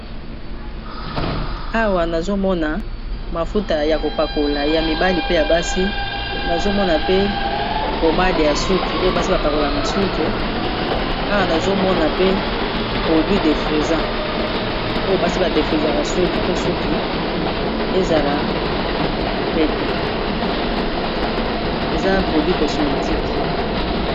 Awa nazomona mafuta ya kopakola ya mibali pe ya basi nazomona pe pomade ya suki oyo basi bapakola na suki awa nazomona pe produit defrisa yobasi badefizaa suki po suki ezala pete eza ba produit cosmétique